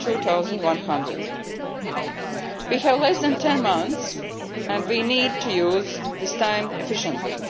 2100. We have less than 10 months and we need to use this time efficiently.